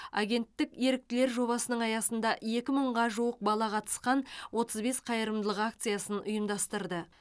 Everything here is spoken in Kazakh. агенттік еріктілер жобасының аясында екі мыңға жуық бала қатысқан отыз бес қайырымдылық акциясын ұйымдастырды